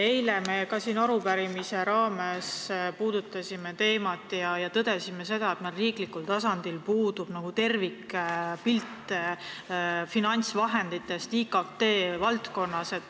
Eile me ka siin arupärimise raames puudutasime seda teemat ja tõdesime, et meil riiklikul tasandil puudub tervikpilt finantsvahenditest IKT valdkonnas.